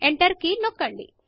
enter key నొక్కండి